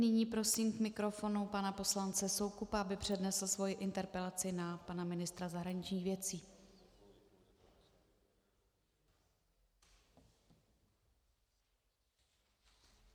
Nyní prosím k mikrofonu pana poslance Soukupa, aby přednesl svoji interpelaci na pana ministra zahraničních věcí.